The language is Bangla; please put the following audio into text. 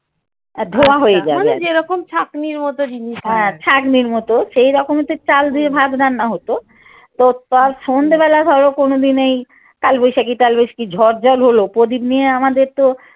হ্যাঁ ছাকনির মত সেইরকমে চাল ধুয়ে ভাত রান্না হত তো সন্ধ্যে বেলা ধর কোনোদিন এই কালবৈশাখী টালবৈশাখী ঝড় জল হল প্রদীপ নিয়ে আমাদের তো